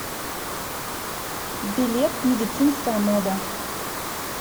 билет медицинская мода